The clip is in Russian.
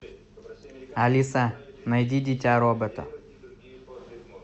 алиса найди дитя робота